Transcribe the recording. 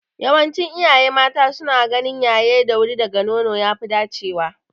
Yawancin iyaye mata suna ganin yaye da wuri daga nono ya fi dacewa.